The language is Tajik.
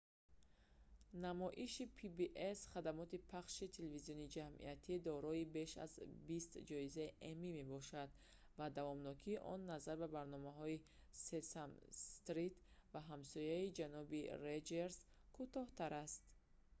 намоиши pbs хадамоти пахши телевизиони ҷамъиятӣ дорои беш аз бист ҷоизаи эмми мебошад ва давомнокии он назар ба барномаи сесам стрит ва ҳамсояи ҷаноби роҷерс кӯтоҳтар аст